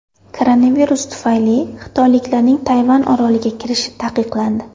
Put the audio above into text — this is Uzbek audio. Koronavirus tufayli xitoyliklarning Tayvan oroliga kirishi taqiqlandi.